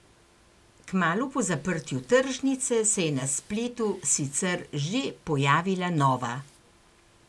Kmalu po zaprtju tržnice se je na spletu sicer že pojavila nova.